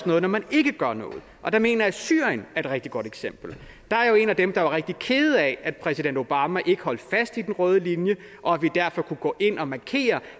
noget når man ikke gør noget og der mener jeg at syrien er et rigtig godt eksempel jeg er jo en af dem der er rigtig kede af at præsident obama ikke holdt fast i den røde linje og at vi derfor ikke kunne gå ind og markere